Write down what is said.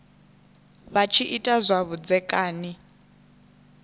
vha tshi ita zwa vhudzekani